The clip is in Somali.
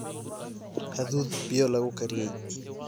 hadhuudh biyo lagu kariyey